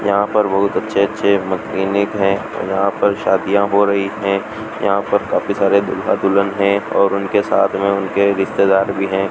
यह पर बहुत अच्छे अच्छे मैकेनिक है यहां पर शादियां हो रही है यहां पर काफी सारे दूल्हा दुल्हन है और उनके साथ में उनके रिश्तेदार भी है।